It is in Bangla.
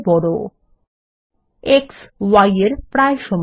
x y এর প্রায় সমান